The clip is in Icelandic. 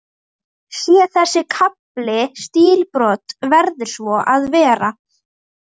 Sé þessi kafli stílbrot, verður svo að vera.